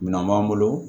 Minɛn b'an bolo